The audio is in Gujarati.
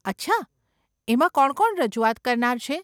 અચ્છા? એમાં કોણ કોણ રજૂઆત કરનાર છે?